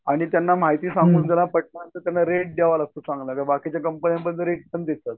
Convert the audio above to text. आणि त्यांना माहिती सांगून जरा पटणार त्यांना रेट द्यावा लागतो चांगला र बाकीच्या कंपनी तर रेट पण देतात.